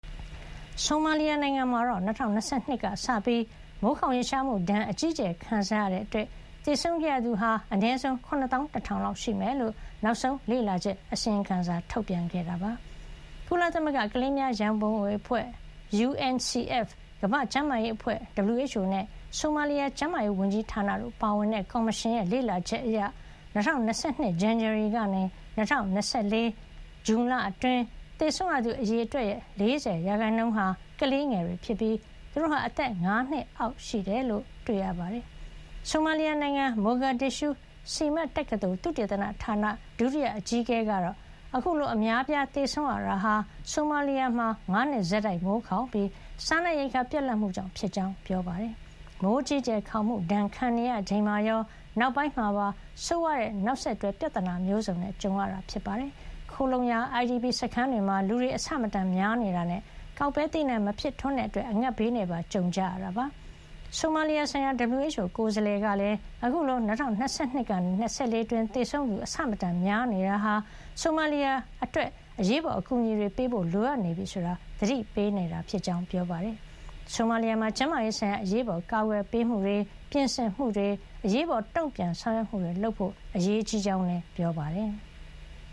ဆိုမာလီယာ နိုင်ငံမှာ ၂၀၂၂ ခုနှစ်ကစပြီး မိုးခေါင်ရေရှားမှုဒဏ် အကြီးအကျယ်ခံစားရတာကြောင့် သေဆုံးခဲ့ရသူ အနည်းဆုံး ၇ သောင်း ၁ ထောင် လောက်ရှိမယ်လို့ နောက်ဆုံး လေ့လာချက်အစီရင်ခံစာမှာ ဖေါ်ပြထားပါတယ်။ ကုလသမဂ္ဂ ကလေးများရံပုံငွေ အဖွဲ့ UNCF ၊ ကမ္ဘာ့ကျန်းမာရေးအဖွဲ့ WHO နဲ့ ဆိုမာလီယာ ကျန်းမာရေး ဝန်ကြီးဌာန တို့ပါဝင်တဲ့ ကော်မရှင်ရဲ့ လေ့လာချက်အရ ၂၀၂၂ ဇန်နဝါရီ ကနေ ၂၀၂၄ ခုနှစ် ဇွန်လ အတွင်း သေဆုံးရသူ အရေအတွက်ရဲ့ ၄၀ % ဟာ ကလေးငယ်တွေ ဖြစ်ပြီး သူတို့ဟာ အသက် ၅ နှစ်အောက်တွေ ဖြစ်ကြောင်း တွေ့ရပါတယ်။ ဆိုမာလီယာ နိုင်ငံ မိုဂါဒစ်ရှုး SIMAD တက္ကသိုလ် သုတေသနဌာန ဒုတိယ အကြီးအကဲ ကတော့ အခုလို အများ အပြား သေဆုံးရတာဟာ ဆိုမာလီယာ မှာ ၅ နှစ် ဆက်တိုက် မိုးခေါင်ပြီး စားနပ်ရိက္ခာ ပြတ်လပ်မှုကြောင့် ဖြစ်ကြောင်း ပြောပါတယ်။ မိုးအကြီးအကျယ် ခေါင်မှု ဒဏ်ခံရ ချိန်မှာရော နောက်ပိုင်းမှာပါ ဆိုးဝါးတဲ့ နောက်ဆက်တွဲ ပြဿနာမျိုးစုံနဲ့ ကြုံခဲ့ရတာပါ။ ခိုလှုံရာ IDP စခန်းတွေမှာ လူတွေ အဆမတန် များနေတာနဲ့ ကောက်ပဲ သီးနှံ မဖြစ်ထွန်းတဲ့ အတွက် အငတ်ဘေးနဲ့ပါ ကြုံကြရတာဖြစ်ပါတယ်။ ဆိုမာလီယာ ဆိုင်ရာ WHO ကိုယ်စားလှယ်ကလည်း အခုလို ၂၀၂၂ ကနေ ၂၀၂၄ အတွင်း သေဆုံးသူ အဆမတန်များ နေတာဟာ ဆိုမာလီယာ အတွက် အရေးပေါ် အကူအညီတွေ ပေးဖို့ လိုအပ်နေပြီဆိုတာ သတိပေး နေတာ ဖြစ်ကြောင်း ပြောပါတယ်။ ဆိုမာလီယာမှာ ကျန်းမာရေး ဆိုင်ရာ အရေးပေါ် ကာကွယ်ပေးမှုတွေ၊ ပြင်ဆင်မှုတွေ၊ အရေးပေါ် တုံပြန်ဆောင်ရွက်မှုတွေ လုပ်ဖို့ အရေးကြီးကြောင်းလည်း ပြောပါတယ်။